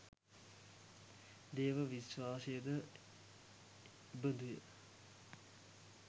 දේව විශ්වාසයද එබඳුය.